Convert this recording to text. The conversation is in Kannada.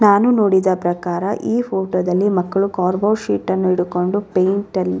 ನಾನು ನೋಡಿದ ಪ್ರಕಾರ ಈ ಫೋಟೋ ದಲ್ಲಿ ಮಕ್ಕಳು ಕಾರ್ಗೋ ಶೀಟ್ ಅನ್ನು ಹೀಡುಕೊಂಡು ಪೈಂಟ್ ಅಲ್ಲಿ --